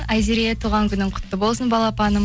айзере туған күнің құтты болсын балапаным